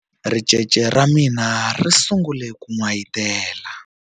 Ricece ra mina ri sungule ku n'wayitela.